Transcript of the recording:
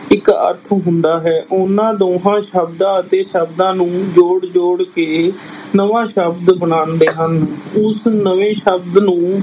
ਇੱਕ ਅਰਥ ਹੁੰਦਾ ਹੈ, ਉਹਨਾਂ ਦੋਹਾਂ ਸ਼ਬਦਾਂ ਤੇ ਸ਼ਬਦਾਂ ਨੂੰ ਜੋੜ ਜੋੜ ਕੇ ਨਵਾਂ ਸ਼ਬਦ ਬਣਾਉਂਦੇ ਹਨ, ਉਸ ਨਵੇਂ ਸ਼ਬਦ ਨੂੰ